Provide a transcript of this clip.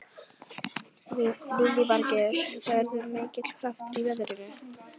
Lillý Valgerður: Verður mikill kraftur í veðrinu?